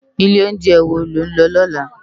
Ilé óunjè wó ló n lò lòlá?